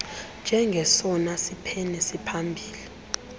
njengesona siphene siphambili